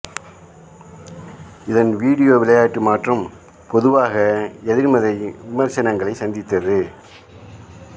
இதன் வீடியோ விளையாட்டு மாற்றம் பொதுவாக எதிர்மறை விமசர்னங்களை சந்தித்தது